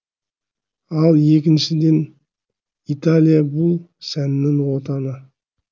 ал екіншіден италия бұл сәннің отаны